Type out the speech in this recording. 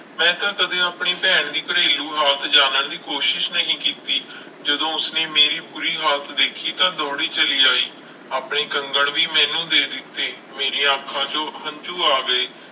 ਮੈਂ ਤਾਂ ਕਦੇ ਆਪਣੀ ਭੈਣ ਦੀ ਘਰੇਲੂ ਹਾਲਤ ਜਾਣਨ ਦੀ ਕੋਸ਼ਿਸ਼ ਨਹੀਂ ਕੀਤੀ ਜਦੋਂ ਉਸਨੇ ਮੇਰੀ ਬੁਰੀ ਹਾਲਤ ਦੇਖੀ ਤਾਂ ਦੌੜੀ ਚਲੀ ਆਈ, ਆਪਣੇ ਕੰਗਣ ਵੀ ਮੈਨੂੰ ਦੇ ਦਿੱਤੇ ਮੇਰੀਆਂ ਅੱਖਾਂ ਚੋਂ ਹੰਝੂ ਆ ਗਏ।